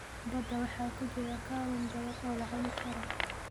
Badda waxaa ku jira kalluun badan oo la cuni karo.